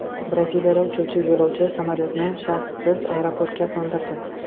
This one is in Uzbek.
Braziliyada uchuvchi yo‘lovchi samolyotni shassisiz aeroportga qo‘ndirdi .